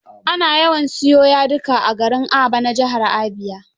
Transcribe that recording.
Ana yawan siyo yadika a garin Aba na jihar Abia.